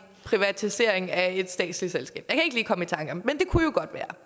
privatisering af et statsligt selskab